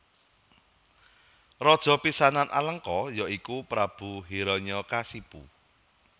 Raja pisanan Alengka ya iku Prabu Hiranyakasipu